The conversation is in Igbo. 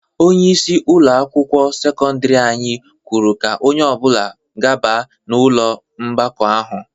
Onyeisi ụlọ akwụkwọ sekọndiri anyị kwuru ka onye ọbụla gaba n'ụlọ ọgbakọ ahụ.